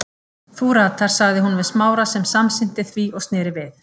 Þú ratar- sagði hún við Smára sem samsinnti því og sneri við.